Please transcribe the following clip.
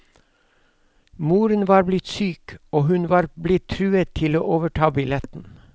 Moren var blitt syk, og hun var blitt truet til å overta billetten.